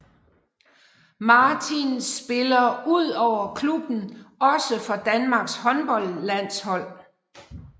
Martin spiller udover klubben også for Danmarks håndboldlandshold